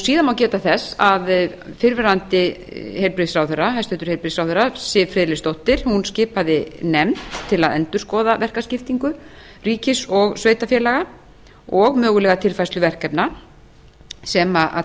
síðan má geta þess að fyrrverandi hæstvirtum heilbrigðisráðherra siv friðleifsdóttir skipaði nefnd til að endurskoða verkaskiptingu ríkis og sveitarfélaga og mögulega tilfærslu verkefna sem